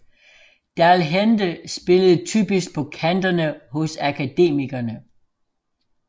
Dal Hende spillede typisk på kanterne hos Akademikerne